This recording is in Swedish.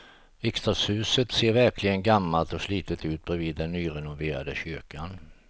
Riksdagshuset ser verkligen gammalt och slitet ut bredvid den nyrenoverade kyrkan.